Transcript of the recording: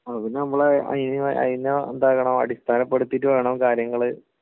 പിന്നെ..നമ്മള് അയ്നെ..അയ്നെ എന്താക്കണം? അടിസ്ഥാനപ്പെടുത്തിയിട്ട് വേണം കാര്യങ്ങള്...